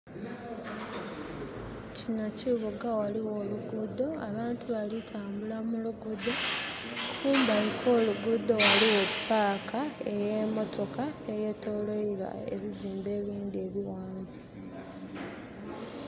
Kino kibuga ghaligho olugudho abantu balitambula mulugudho. Kumbali kwolugudho ghaligho paaka eyemotoka eyetolweilwa ebizimbe ebindhi ebighanvu